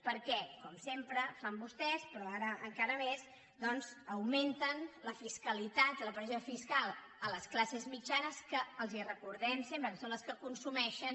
perquè com sempre fan vostès però ara encara més doncs augmenten la fiscalitat la pressió fiscal a les classes mitjanes que els recordem sempre que són les consumeixen